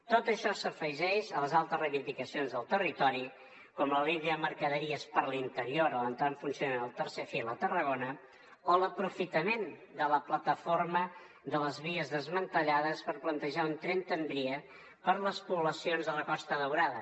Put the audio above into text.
tot això s’afegeix a les altres reivindicacions del territori com la línia de mercaderies per l’interior o l’entrada en funcionament del tercer fil a tarragona o l’aprofitament de la plataforma de les vies desmantellades per plantejar un tren tramvia per les poblacions de la costa daurada